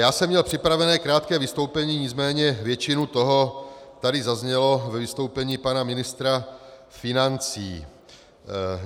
Já jsem měl připravené krátké vystoupení, nicméně většina toho tady zazněla ve vystoupení pana ministra financí.